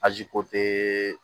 Aji ko te